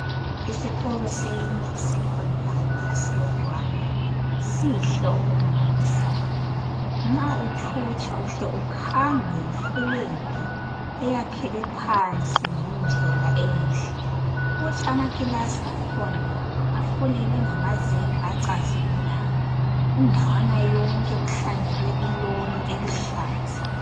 isikolo seyinye i secondary yase Rwanda sihle okumangalisayo nxa uthutsha uhle ukhangwe yi Flag eyakhelwe phansi ngendlela enhle thi amakilasi akhona afulelwe ngamazenge acazimulayo indawana yonke kuhlanyelwe i lawn eluhlaza